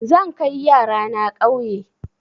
Zan kai yara na ƙauye.